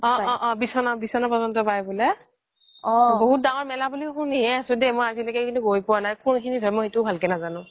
অ অ বিচ্না প্ৰজন্ত পাই বুলে বহুত দাঙৰ মেলা বুলি শুনি হে আছো মই আজিলে কিন্তু গৈ পুৱা নাই আৰু কুন্খিনিত হয় সেইতোও মই ভালকে নাজানো